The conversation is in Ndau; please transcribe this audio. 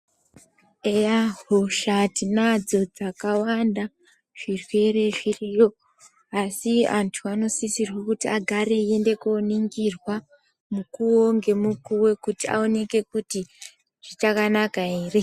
Eya hosha tinadzo dzakawanda, zvirwere zviriyo asi antu anosisirwe kuti agare eiende kunoningirwa mukuwo ngemukuwo kuyi aoneke kuti zvichakanaka here.